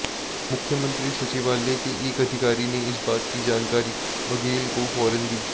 मुख्यमंत्री सचिवालय के एक अधिकारी ने इस बात की जानकारी बघेल को फौरन दी